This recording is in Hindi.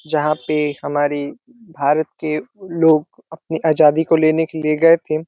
जहाँ पे हमारी भारत के लोग अपनी आजादी को लेने के लिए गए थे।